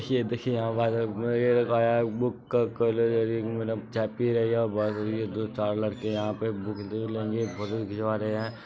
देखिए --देखिए यहाँ वाइरल ये देखो बुक का कॉलर ये मैडम चाय पी रहीं हैं और बस यही दो -चार लड़के यहाँ पर बुक देख लेंगे फोटो खिचवा रहें हैं ।